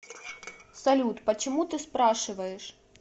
салют почему ты спрашиваешь